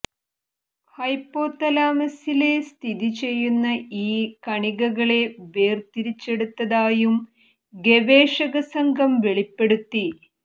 ഹൈപോതലാമസില് സ്ഥിതി ചെയ്യുന്ന ഈ കണികകളെ വേര്തിരിച്ചെടുത്തതായും ഗവേഷകസംഘം വെളിപ്പെടുത്തി